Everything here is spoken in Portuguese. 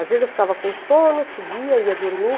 Às vezes eu ficava com sono, subia, ia dormir.